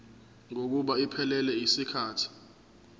kokuba iphelele yisikhathi